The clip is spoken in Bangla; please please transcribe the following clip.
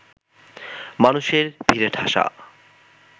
মানুষের ভিড়ে ঠাসা